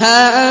هَا